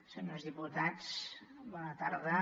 senyors diputats bona tarda